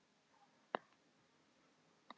Hvaða lið mun enda sem Íslandsmeistari?